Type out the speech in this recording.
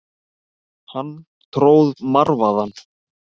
Hann tróð marvaðann.